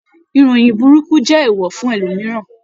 Ìròyìn burúkú jẹ eewọ fún ẹlòmíràn.